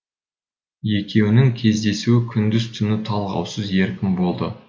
екеуінің кездесуі күндіз түні талғаусыз еркін болды